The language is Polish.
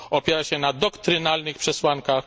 Opiera się na doktrynalnych przesłankach.